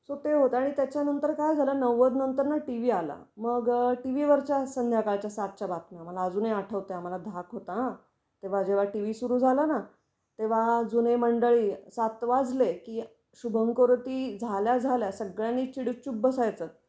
आणि त्याच्या नंतर काय झाल, नव्वद नंतर ना टीव्ही आला. मग टीव्ही वर च्या संध्याकाळच्या सातच्या बातम्यां. मला अजूनही आठवते आम्हाला धाक होता हा. तेव्हा जेव्हा टीव्ही सुरू झाला ना तेव्हा जुने मंडळी सात वाजले की शुभम करोती झाल्या झाल्या सगळ्यांनी चिडीचूप बसायच.